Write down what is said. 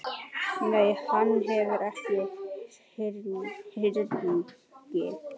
Nei, hann hefur ekki hringt.